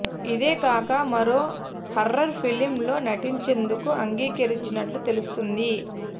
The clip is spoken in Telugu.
ఇదే కాక మరో హర్రర్ ఫిలిమ్ లో నటించేందుకు అంగీకరించినట్లు తెలుస్తుంది